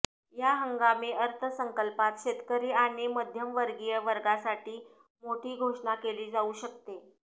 या हंगामी अर्थसंकल्पात शेतकरी आणि मध्यमवर्गीय वर्गासाठी मोठी घोषणा केली जाऊ शकते